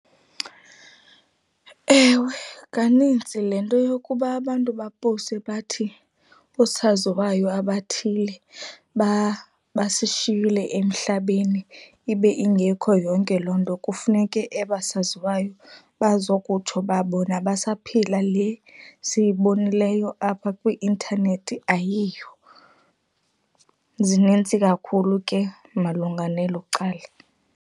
Ewe, kanintsi le nto yokuba abantu bapowuste bathi oosaziwayo abathile basishiyile emhlabeni ibe ingekho yonke loo nto kufuneke ebasaziwayo bazokutsho uba bona basaphila, le siyibonileyo apha kwi-intanethi ayiyo. Zinintsi kakhulu ke malunga nelo cala.